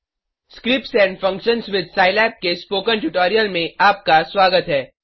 scripts and functions with Scilab के spoken tutorial में आपका स्वागत है